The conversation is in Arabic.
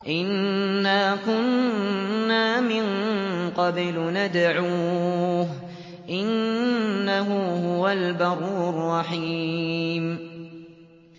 إِنَّا كُنَّا مِن قَبْلُ نَدْعُوهُ ۖ إِنَّهُ هُوَ الْبَرُّ الرَّحِيمُ